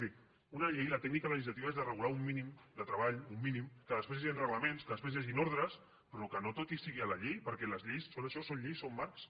miri una llei la tècnica la legislativa és de regular un mínim de treball un mínim que després hi hagin reglaments que després hi hagin ordres però que no tot hi sigui a la llei perquè les lleis són això són lleis són marcs